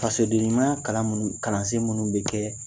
Fasodenɲumaya kalan minnu, kalansen minnu bɛ kɛ